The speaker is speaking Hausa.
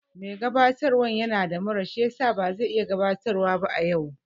Mai gabatarwan yana da mura shiyasa bazai iya gabatarwan ba yau